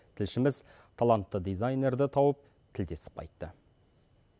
тілшіміз талантты дизайнерді тауып тілдесіп қайтты